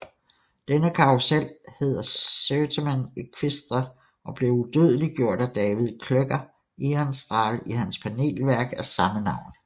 Denne karrusel hed Certamen Equestre og blev udødeliggjort af David Klöcker Ehrenstrahl i hans panelværk af samme navn